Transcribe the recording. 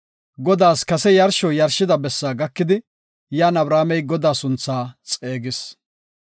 Godaas kase yarsho yarshida bessa gakidi, yan Abramey Godaa sunthaa xeegis.